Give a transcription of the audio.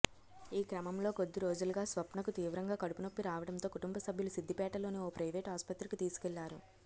ఈ క్రమంలో కొద్దిరోజులుగా స్వప్నకు తీవ్రంగా కడుపునొప్పి రావడంతో కుటుంబసభ్యులు సిద్ధిపేటలోని ఓ ప్రైవేటు ఆసుపత్రికి తీసుకెళ్లారు